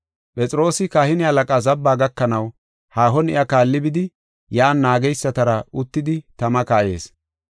Phexroosi kahine halaqaa zabbaa gakanaw haahon iya kaalli bidi yan naageysatara uttidi tama kayees.